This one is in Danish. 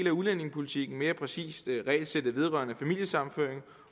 af udlændingepolitikken mere præcist regelsættet vedrørende familiesammenføring